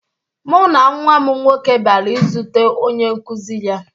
Mụ na nwa m nwoke bịara izute onye nkụzi ya